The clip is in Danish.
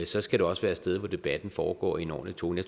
så skal det også være et sted hvor debatten foregår i en ordentlig tone